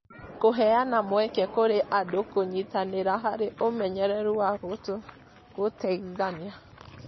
kũheana mweke kũrĩ andũ kũnyitanĩra harĩ ũmenyeru wa gũteithania